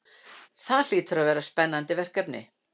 Það hlýtur að vera spennandi verkefni?